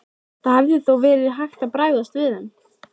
Það hefði þó verið hægt að bregðast við þeim.